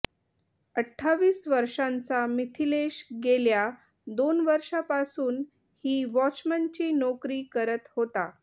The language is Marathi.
अठ्ठावीस वर्षांचा मिथिलेश गेल्या दोन वर्षांपासून ही वॉचमनची नोकरी करत होता